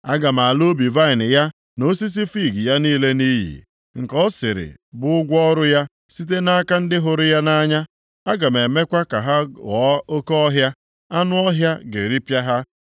Aga m ala ubi vaịnị ya na osisi fiig ya niile nʼiyi, nke ọ sịrị bụ ụgwọ ọrụ ya site nʼaka ndị hụrụ ya nʼanya; aga m emekwa ka ha ghọọ oke ọhịa, anụ ọhịa ga-eripịa ha.